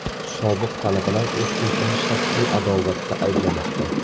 Sobiq talabalar o‘qituvchini shaxsiy adovatda ayblamoqda.